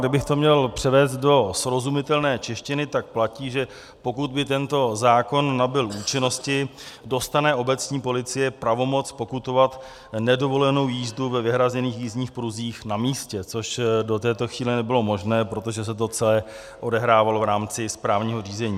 Kdybych to měl převést do srozumitelné češtiny, tak platí, že pokud by tento zákon nabyl účinnosti, dostane obecní policie pravomoc pokutovat nedovolenou jízdu ve vyhrazených jízdních pruzích na místě, což do této chvíle nebylo možné, protože se to celé odehrávalo v rámci správního řízení.